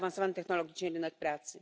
technologicznie rynek pracy.